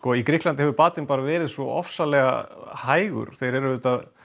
í Grikklandi hefur batinn bara verið svo hægur þeir eru